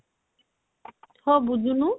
ହଁ ବୁଝୁନୁ